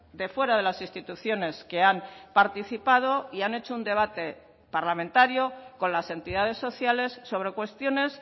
de fuera de las instituciones que han participado y han hecho un debate parlamentario con las entidades sociales sobre cuestiones